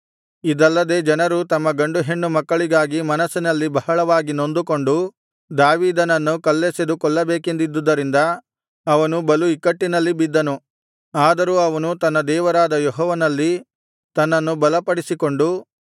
ಇದಲ್ಲದೆ ಜನರು ತಮ್ಮ ಗಂಡು ಹೆಣ್ಣು ಮಕ್ಕಳಿಗಾಗಿ ಮನಸ್ಸಿನಲ್ಲಿ ಬಹಳವಾಗಿ ನೊಂದುಕೊಂಡು ದಾವೀದನನ್ನು ಕಲ್ಲೆಸೆದು ಕೊಲ್ಲಬೇಕೆಂದಿದ್ದುದರಿಂದ ಅವನು ಬಲು ಇಕ್ಕಟ್ಟಿನಲ್ಲಿ ಬಿದ್ದನು ಆದರೂ ಅವನು ತನ್ನ ದೇವರಾದ ಯೆಹೋವನಲ್ಲಿ ತನ್ನನ್ನು ಬಲಪಡಿಸಿಕೊಂಡು